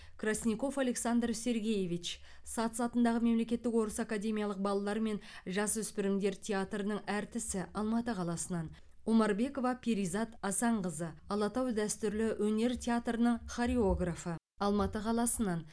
красников александр сергеевич сац атындағы мемлекеттік орыс академиялық балалар мен жасөспірімдер театрының әртісі алматы қаласынан омарбекова перизат асанқызы алатау дәстүрлі өнер театрының хореографы алматы қаласынан